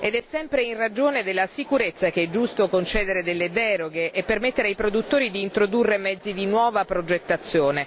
Ed è sempre in ragione della sicurezza che è giusto concedere delle deroghe e permettere ai produttori di introdurre mezzi di nuova progettazione.